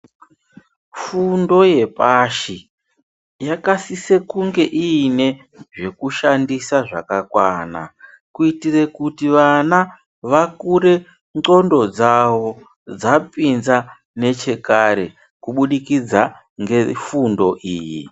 Fundo yepashi yakasise kunge iine zvekushandisa zvakakwana kuitire kuti vana vakure ndxondo dzawo dzapinza nechekare kubudikidza nefundo iyi.